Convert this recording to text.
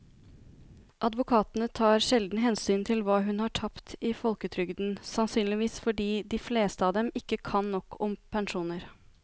Advokatene tar sjelden hensyn til hva hun har tapt i folketrygden, sannsynligvis fordi de fleste av dem ikke kan nok om pensjoner.